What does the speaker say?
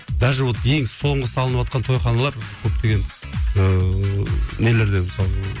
даже вот ең соңғы салыныватқан тойханалар көптеген ыыы нелерден мысалы